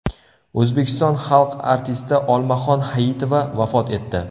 O‘zbekiston xalq artisti Olmaxon Hayitova vafot etdi.